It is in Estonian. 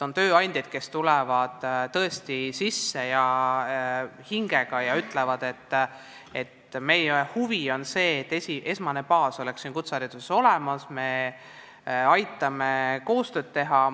On tööandjaid, kes on tõesti hingega asja juures ja ütlevad, et nende huvi on, et esmane baas oleks kutsehariduses olemas, et nad aitavad koostööd teha.